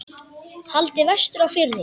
Haldið vestur á Firði